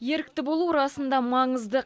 ерікті болу расында маңызды